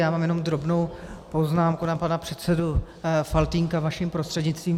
Já mám jenom drobnou poznámku na pana předsedu Faltýnka vaším prostřednictvím.